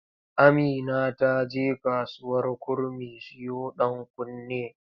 Amina ta je kasuwar kurmi siyo ɗankunne.